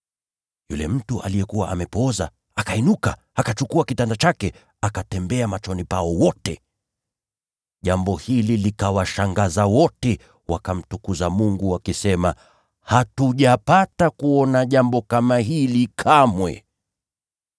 Yule mtu aliyekuwa amepooza akasimama, akachukua mkeka wake, akatembea machoni pao wote! Jambo hili likawashangaza wote, wakamtukuza Mungu, wakisema, “Hatujapata kuona jambo kama hili kamwe!”